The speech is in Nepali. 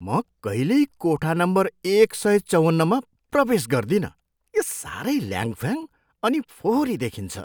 म कहिल्यै कोठा नम्बर एक सय चौवन्नमा प्रवेश गर्दिनँ, यो साह्रै ल्याङफ्याङ अनि फोहोरी देखिन्छ।